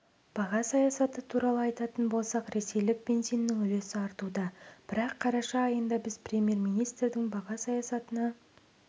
баға саясаты туралы айтатын болсақ ресейлік бензиннің үлесі артуда бірақ қараша айында біз премьер-министрдің баға саясатына